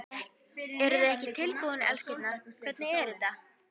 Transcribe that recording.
Eruð þið ekki tilbúin, elskurnar, hvernig er þetta?